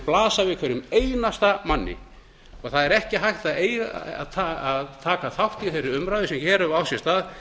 blasa við hverjum einasta manni það er ekki hægt að taka þátt í þeirri umræðu sem hér hefur átt sér stað